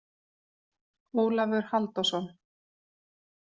Ólafur Halldórsson.